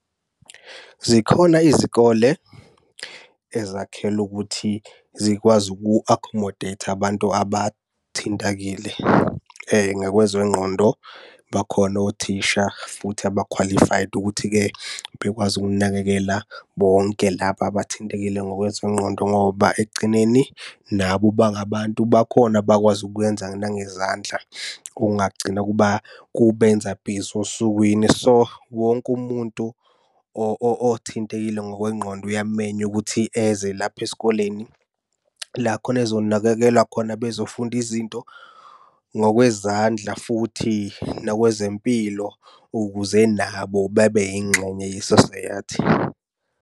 Zikhona izikole ezakhelwe ukuthi zikwazi uku-accomodate abantu abathintekile ngakwezengqondo. Bakhona othisha futhi aba-qualified ukuthi-ke bekwazi ukunakekela bonke laba abathintekile ngokwezengqondo ngoba ekugcineni nabo bangabantu. Bakhona abakwazi ukwenza nangezandla, kungagcina kubenza busy osukwini. So, wonke umuntu othintekile ngokwengqondo uyamenywa ukuthi eze lapha esikoleni, la khona ezonakekelwa khona bezofunda izinto ngokwezandla futhi nokwezempilo, ukuze nabo babe yingxenye ye-society.